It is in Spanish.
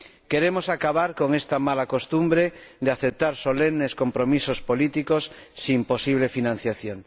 Queremos acabar con esta mala costumbre de aceptar solemnes compromisos políticos sin posible financiación.